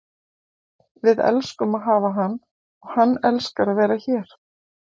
Við elskum að hafa hann og hann elskar að vera hér.